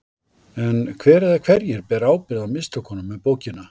En hver eða hverjir bera ábyrgð á mistökunum með bókina?